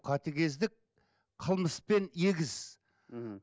қатыгездік қылмыспен егіз мхм